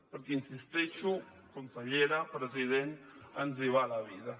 perquè hi insisteixo consellera president ens hi va la vida